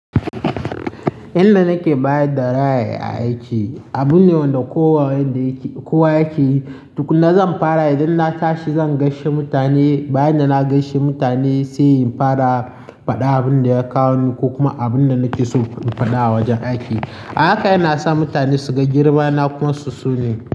Inda nake bayar da ra'ayi a aiki, abun ne wanda kowa yake yi. Duk na zan fara idan na tashi zan gaishe mutane. Bayan da na gaishe mutane sai in fara faɗa abin da ya kawo ni ko kuma abin da nake so in faɗa a wajen aiki. Haka yana sa mutane su ga girma na kuma su sone.